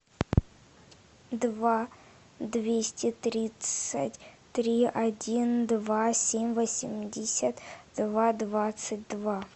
два двести тридцать три один два семь восемьдесят два двадцать два